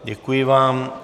Děkuji vám.